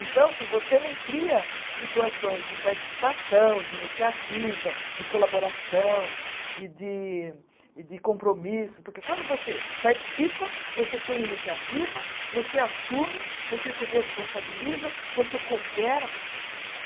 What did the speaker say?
Então, se você não cria situações de participação, de iniciativa, de colaboração e de e de compromisso, porque quando você participa, você tem iniciativa, você assume, você se responsabiliza, você coopera com as pessoas.